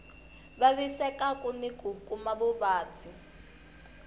vavisekaku ni ku kuma vuvabyi